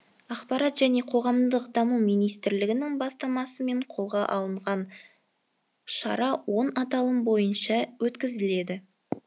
ақпарат және қоғамдық даму министрлігінің бастамасымен қолға алынған шара он аталым бойынша өткізіледі